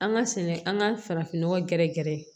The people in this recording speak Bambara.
An ka sɛnɛ an ka farafinnɔgɔn gɛrɛ gɛrɛ